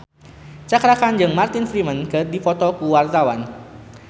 Cakra Khan jeung Martin Freeman keur dipoto ku wartawan